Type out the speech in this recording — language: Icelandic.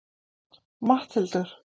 Matthildur